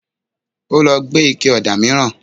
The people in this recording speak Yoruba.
Ó lọ gbé ike ọ̀dà mìíràn